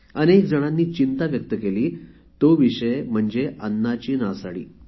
अनेक जणांनी चिंता व्यक्त केली तो विषय म्हणजे अन्नाची नासाडी